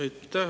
Aitäh!